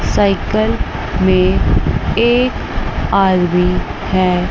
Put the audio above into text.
Cycle में एक आदमी है।